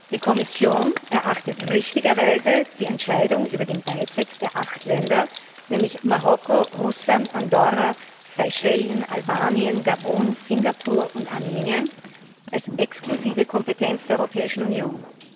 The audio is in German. Die Kommission erachtet richtigerweise die Entscheidung über den Beitritt der acht Länder, nämlich Marokko, Russland, Andorra, Seychellen, Albanien, Gabun, Singapur und Armenien, als exklusive Kompetenz der Europäischen Union.